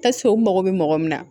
u mago bɛ mɔgɔ min na